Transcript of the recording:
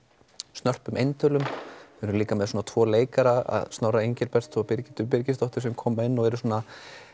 snörpum eintölum þeir eru líka með tvo leikara Snorra Engilberts og Birgittu Birgis sem koma inn og eru svona